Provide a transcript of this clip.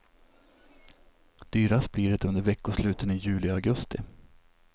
Dyrast blir det under veckosluten i juli och augusti.